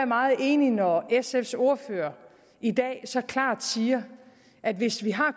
meget enig når sfs ordfører i dag så klart siger at hvis vi har